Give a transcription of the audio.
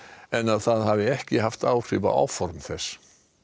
en að það hafi ekki áhrif á áform þess